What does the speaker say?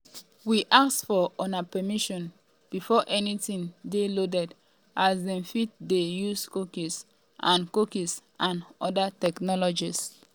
we ask for una permission before anytin dey loaded as dem fit dey use cookies and cookies and oda technologies.